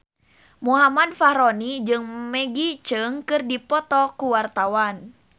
Muhammad Fachroni jeung Maggie Cheung keur dipoto ku wartawan